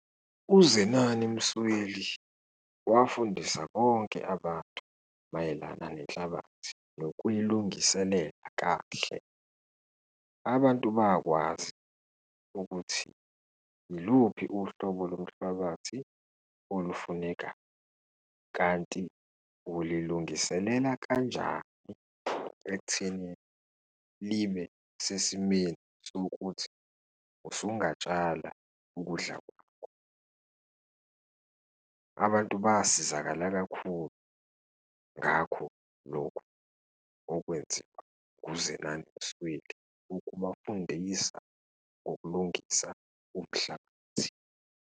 UZenani Msweli wafundisa bonke abantu mayelana nenhlabathi nokuyilungiselela kahle. Abantu bakwazi ukuthi yiluphi uhlobo lomhlabathi olufuneka kanti ulilungiselela kanjani ekutheni libe sesimeni sokuthi usungatshala ukudla kwakho. Abantu basizakala kakhulu ngakho lokhu okwenziwa ukunziwa nguZenina Msweli ukubafundisa ngokulungisa umhlabathi.